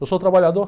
Eu sou trabalhador.